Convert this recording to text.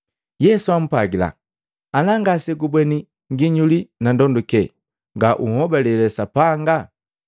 Yesu ampwagila, “Ana ngasembweni nginyuli na ndonduke ngauhobalele Sapanga.”